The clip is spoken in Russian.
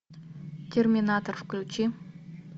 терминатор включи